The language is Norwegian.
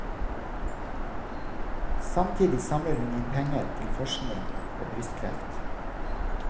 Samtidig samler hun inn penger til forskning på brystkreft.